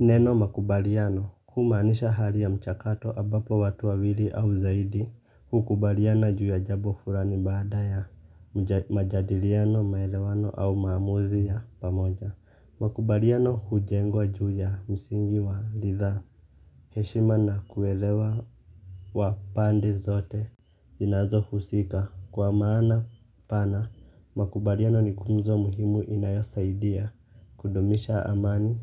Neno makubaliano humaanisha hali ya mchakato ambapo watu wawili au zaidi hukubaliana juu ya jambo fulani baada ya majadiliano maelewano au maamuzi ya pamoja. Makubaliano hujengwa juu ya msingi wa licha ya heshima na kuelewa wa pande zote. Zinazo husika kwa maana pana, makubaliano ni nguzo muhimu inayosaidia kudumisha amani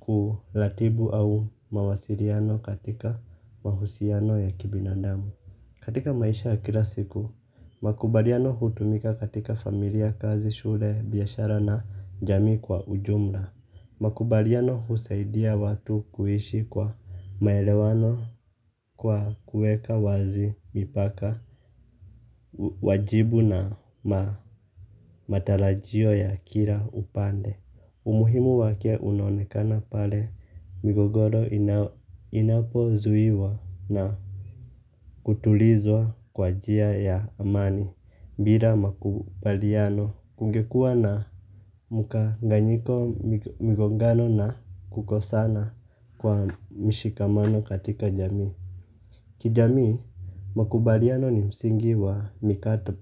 kuratibu au mawasiliano katika mahusiano ya kibinadamu. Katika maisha ya kila siku, makubaliano hutumika katika familia kazi shule biashara na jamii kwa ujumla. Makubaliano husaidia watu kuishi kwa maelewano kwa kuweka wazi mipaka. Wajibu na ma matarajio ya kila upande umuhimu wake unaonekana pale migogoro inapozuia na kutulizwa kwa njia ya amani bila makubaliano kungekua na mkanganyiko migogano na kukosana kwa mshikamano katika jamii. Kijamii, makubaliano ni msingi wa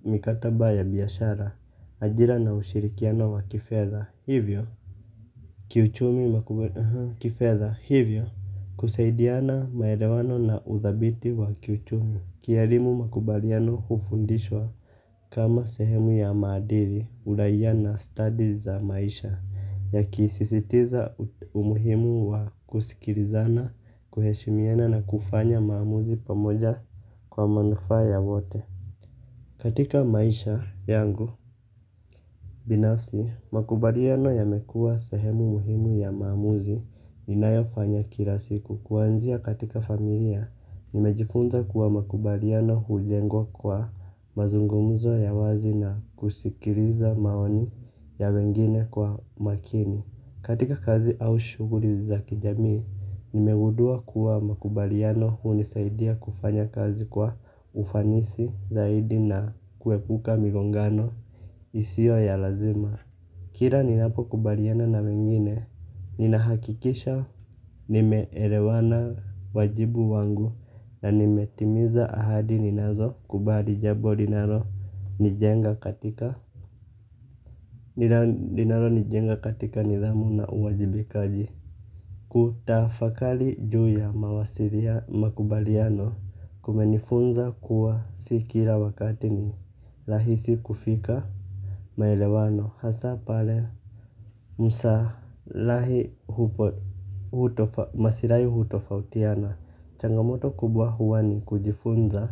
mikataba ya biashara, ajira na ushirikiano wa kifedha hivyo kiuchumi makubaliano kifedha hivyo kusaidiana maelewano na udhabiti wa kiuchumi. Kielimu makubaliano hufundishwa kama sehemu ya maadili uraia na stadi za maisha. Ya kisisitiza umuhimu wa kusikilizana, kuheshimiana na kufanya maamuzi pamoja kwa manufa ya wote. Katika maisha yangu binafsi, makubaliano yamekua sehemu muhimu ya maamuzi ninayofanya kila siku. Kuwanzia katika familia, nimejifunza kuwa makubaliano hulengwa kwa mazungumuzo ya wazi na kusikiliza maoni ya wengine kwa makini. Katika kazi au shughuli za kijamii, nimegundua kuwa makubaliano hunisaidia kufanya kazi kwa ufanisi zaidi na kuepuka migongano isio ya lazima. Kila ninapo kubaliana na wengine, ninahakikisha nimeelewana wajibu wangu na nimetimiza ahadi ninazo kubali jambo linalo nijenga ni jenga katika nidhamu na uwajibikaji. Kutafakari juu ya mawasilia makubaliano kumenifunza kuwa si kila wakati ni rahisi kufika. Maelewano hasa pale msa lahi hupo maslahi hutofautiana. Changa moto kubwa huwa ni kujifunza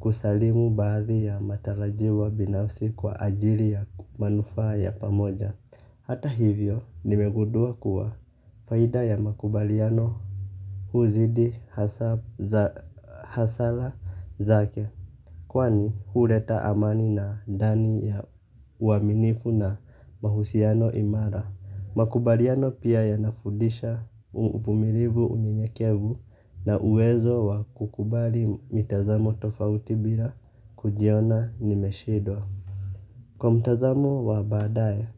kusalimu baadhi ya matarajiwa binafsi kwa ajili ya manufa ya pamoja. Hata hivyo nimegundua kuwa faida ya makubaliano huzidi hasara zake. Kwani huleta amani na dani ya uaminifu na mahusiano imara. Makubaliano pia yanafudisha uvumilivu unyeyekevu na uwezo wa kukubali mitazamo tofauti bila kujiona nimeshindwa. Kwa mtazamo wa baadaye,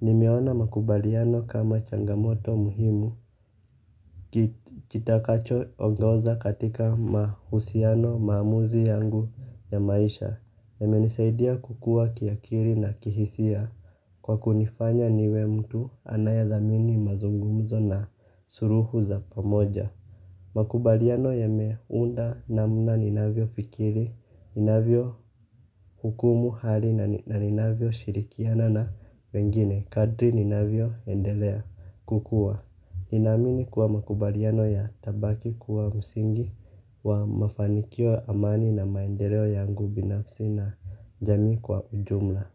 nimeona makubaliano kama changamoto muhimu. Kitakacho ongoza katika mahusiano maamuzi yangu ya maisha. Yame nisaidia kukua kiakili na kihisia. Kwa kunifanya niwe mtu anayadhamini mazungumzo na suluhu za pamoja. Makubaliano yame unda namna ninavyo fikiri. Ninavyo hukumu hali na ninavyo shirikiana na wengine. Kadri ninavyo endelea kukua. Nina amini kuwa makubaliano ya tabaki kuwa msingi wa mafanikio amani na maendeleo yangu binafsi na jamii kwa ujumla.